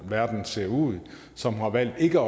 og verden ser ud som har valgt ikke